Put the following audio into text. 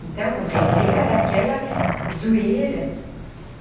Então, no recreio era aquela zoeira.